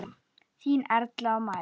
Þínar Erla og María.